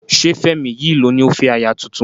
Ṣé Fẹ́mi yìí ló ní ó fẹ́ aya tuntun?